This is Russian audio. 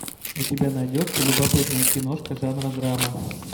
у тебя найдется любопытная киношка жанра драма